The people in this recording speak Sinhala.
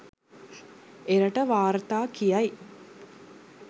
එරට වාර්තා කියයි.